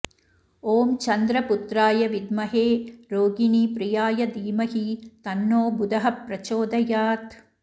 ॐ चन्द्रपुत्राय विद्महे रोहिणी प्रियाय धीमहि तन्नो बुधः प्रचोदयात्